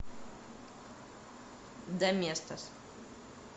доместос